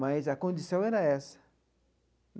Mas a condição era essa.